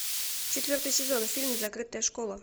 четвертый сезон фильм закрытая школа